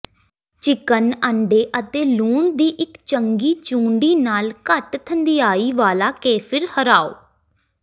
chicken ਅੰਡੇ ਅਤੇ ਲੂਣ ਦੀ ਇਕ ਚੰਗੀ ਚੂੰਡੀ ਨਾਲ ਘੱਟ ਥੰਧਿਆਈ ਵਾਲਾ ਕੇਫਿਰ ਹਰਾਓ